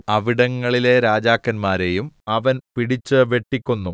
അവിടങ്ങളിലെ രാജാക്കന്മാരെയും അവൻ പിടിച്ച് വെട്ടിക്കൊന്നു